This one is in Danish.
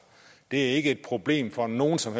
det er ikke et problem for nogen som